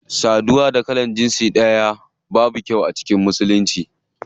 Saduwa tsakanin jinsi iri daya babu kyau a musulunci.